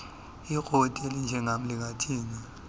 ikroti elinjengam lingathini